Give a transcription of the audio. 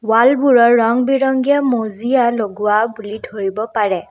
ৱালবোৰৰ ৰং বিৰঙীয়া মজিয়া লগোৱা বুলি ধৰিব পাৰে।